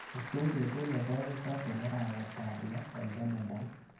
Istee betut nekonyitot eng arawetap loo eng kalendait.